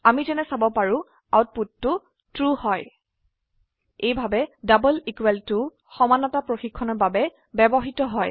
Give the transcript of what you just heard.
আমি যেনে চাব পাৰো আউটপুটটো ট্ৰু হয় এইভাবে ডাবল ইকুয়াল টু সমতা পৰীক্ষণৰ বাবে ব্যবহৃত হয়